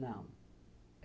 Não.